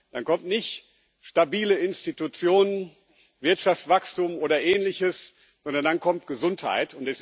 Dann kommt nicht stabile Institutionen, Wirtschaftswachstum oder Ähnliches, sondern dann kommt Gesundheit.